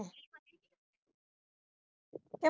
ਏ